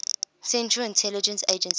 central intelligence agency